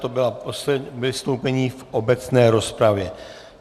To bylo poslední vystoupení v obecné rozpravě.